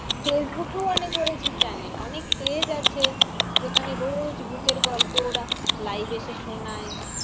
ফেসবুকেও অনেক রয়েছে channel অনেক page আছে যেখানে রোজ ভুতের গল্প ওরা live এসে শোনায়।